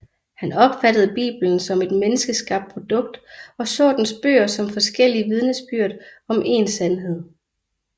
Han opfattede Bibelen som et menneskeskabt produkt og så dens bøger som forskellige vidnesbyrd om én sandhed